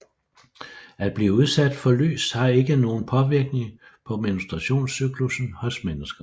At blive udsat for lys har ikke nogen påvirkning på menstruationscyklussen hos mennesker